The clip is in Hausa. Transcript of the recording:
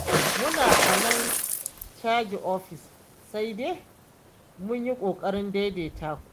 Mu a nan caji ofis sai dai mu yi ƙoƙarin daidaita ku.